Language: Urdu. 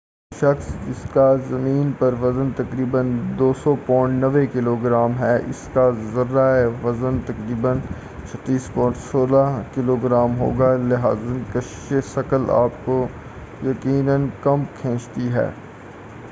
ایک شخص جسکا زمین پر وزن تقریبا 200 پاونڈز 90 کلوگرام ہے اسکا ذرہ پر وزن تقریبا 36 پاونڈز 16 کلوگرام ہوگا- لہٰذا کَشِشِ ثَقَل آپکو یقینا کم کھینچتی ہے-